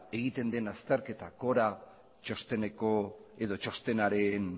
egiten den azterketa cora txostenaren